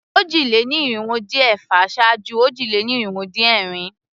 Òjì-lé-ní-irinwó-dín-ẹ̀fà ṣáájú òjì-lé-ní-irinwó-dín-ẹ̀rin.